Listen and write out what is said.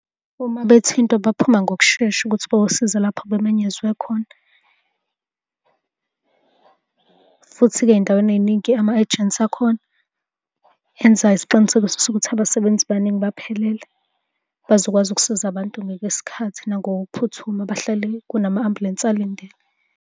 Uma bethintwa baphuma ngokushesha ukuthi bayosiza lapho bemenyezwe khona, futhi-ke ey'ndaweni ey'ningi ama-agents akhona enza isiqinisekiso sokuthi abasebenzi baningi baphelele bazokwazi ukusiza abantu ngesikhathi nangokuphuthuma bahlale kunama-ambulensi alindile.